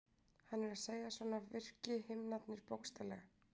hann er að segja að svona virki himnarnir bókstaflega